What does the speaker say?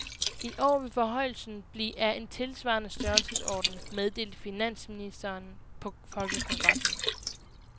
I år vil forhøjelsen blive af en tilsvarende størrelsesorden, meddelte finansministeren på folkekongressen.